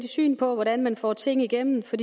syn på hvordan man får tingene igennem for